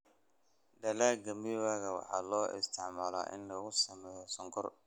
Dalagga miwa waxaa loo isticmaalaa in lagu sameeyo sonkor.